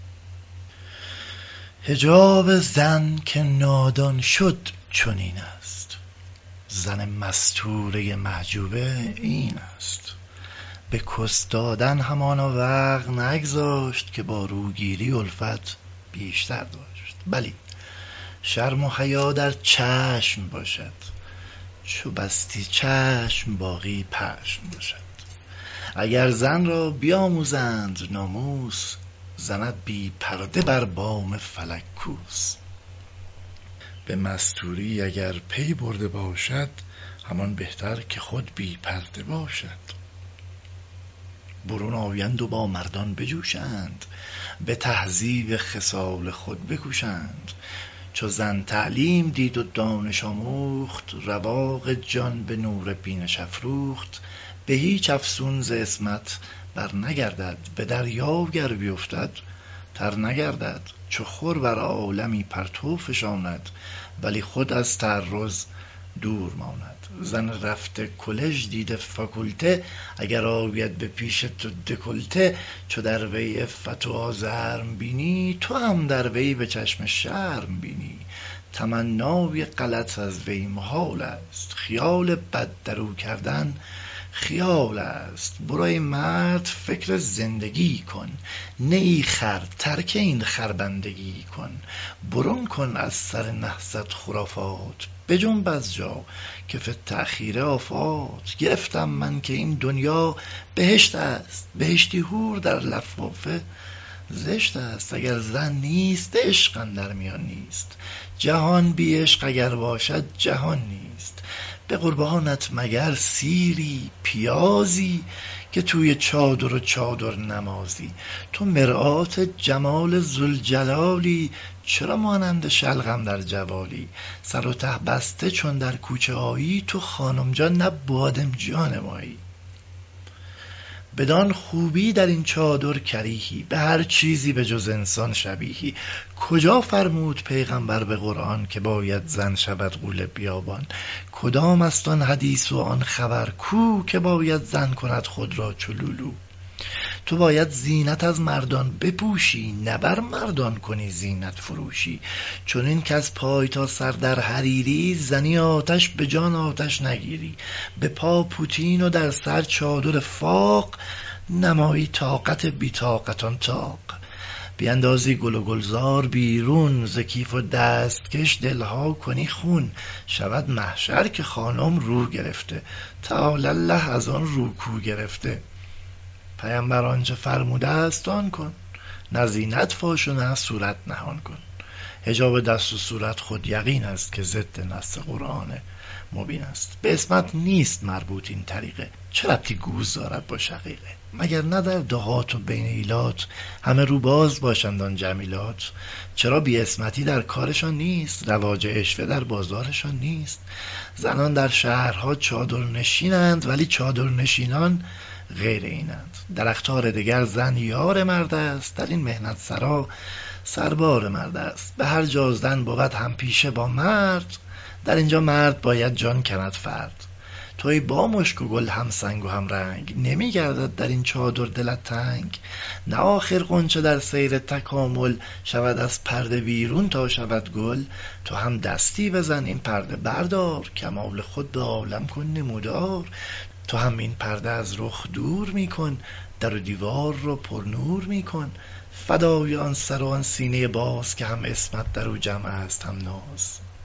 حجاب زن که نادان شد چنینست زن مستورۀ محجوبه اینست به کس دادن همانا وقع نگذاشت که با روگیری الفت بیشتر داشت بلی شرم و حیا در چشم باشد چو بستی چشم باقی پشم باشد اگر زن را بیاموزند ناموس زند بی پرده بر بام فلک کوس به مستوری اگر پی برده باشد همان بهتر که خود بی پرده باشد برون آیند و با مردان بجوشند به تهذیب خصال خود بکوشند چو زن تعلیم دید و دانش آموخت رواق جان به نور بینش افروخت به هیچ افسون ز عصمت بر نگردد به دریا گر بیفتد تر نگردد چو خور بر عالمی پرتو فشاند ولی خود از تعرض دور ماند زن رفته کلژ دیده فاکولته اگر آید به پیش تو دکولته چو در وی عفت و آزرم بینی تو هم در وی به چشم شرم بینی تمنای غلط از وی محال است خیال بد در او کردن خیال است برو ای مرد فکر زندگی کن نیی خر ترک این خر بندگی کن برون کن از سر نحست خرافات بجنب از جا که فی التاخیر آفات گرفتم من که این دنیا بهشتست بهشتی حور در لفافه زشتست اگر زن نیست عشق اندر میان نیست جهان بی عشق اگر باشد جهان نیست به قربانت مگر سیری پیازی که توی بقچه و چادر نمازی تو مرآت جمال ذوالجلالی چرا مانند شلغم در جوالی سر و ته بسته چون در کوچه آیی تو خانم جان نه بادمجان مایی بدان خوبی در این چادر کریهی به هر چیزی بجز انسان شبیهی کجا فرمود پیغمبر به قرآن که باید زن شود غول بیابان کدام است آن حدیث و آن خبر کو که باید زن کند خود را چو لولو تو باید زینت از مردان بپوشی نه بر مردان کنی زینت فروشی چنین کز پای تا سر در حریری زنی آتش به جان آتش نگیری به پا پوتین و در سر چادر فاق نمایی طاقت بی طاقتان طاق بیندازی گل و گلزار بیرون ز کیف و دستکش دل ها کنی خون شود محشر که خانم رو گرفته تعالی الله از آن رو کو گرفته پیمبر آنچه فرمودست آن کن نه زینت فاش و نه صورت نهان کن حجاب دست و صورت خود یقینست که ضد نص قرآن مبینست به عصمت نیست مربوط این طریقه چه ربطی گوز دارد با شقیقه نگر اندر دهات و بین ایلات همه رو باز باشند آن جمیلات چرا بی عصمتی در کارشان نیست رواج عشوه در بازارشان نیست زنان در شهرها چادر نشینند ولی چادر نشینان غیر اینند در اقطار دگر زن یار مردست در این محنت سرا سربار مردست به هر جا زن بود هم پیشه با مرد در این جا مرد باید جان کند فرد تو ای با مشک و گل همسنگ و همرنگ نمی گردد در این چادر دلت تنگ نه آخر غنچه در سیر تکامل شود از پرده بیرون تا شود گل تو هم دستی بزن این پرده بردار کمال خود به عالم کن نمودار تو هم این پرده از رخ دور می کن در و دیوار را پر نور می کن فدای آن سر و آن سینۀ باز که هم عصمت در او جمعست هم ناز